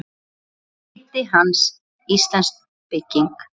Í riti hans, Íslensk bygging